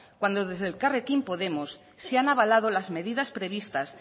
cuando desde elkarrekin podemos se han avalado las medidas previstas